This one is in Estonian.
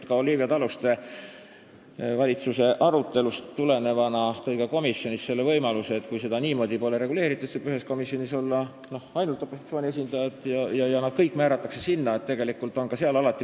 Olivia Taluste tõi valitsuse arutelust tulenevana ka komisjonis välja sellise võimaluse, et kui seda niimoodi pole reguleeritud, siis võivad ühes komisjonis olla ainult opositsiooni esindajad ja nad kõik määratakse sinna.